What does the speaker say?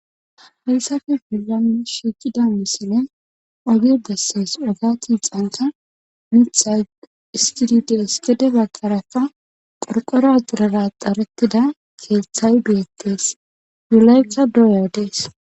Hayssappe bolan shiiqida misilen oge besees. ogiya gaxankka mithay xiskidi des gede bagankka qorqoro axirera axaretida keehthay beetees. nu laytha baow odees.